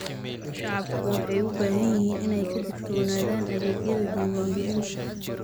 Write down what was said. Shacabku waxay u baahan yihiin inay ka digtoonaadaan adeegyada diiwaangelinta.